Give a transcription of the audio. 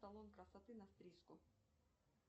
салон красоты на стрижку